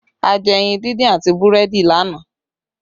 A jẹ ẹyin díndín àti búrẹ́dì lánàá